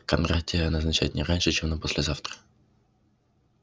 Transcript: кондратия назначай не раньше чем на послезавтра